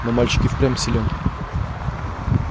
но мальчик и впрямь силен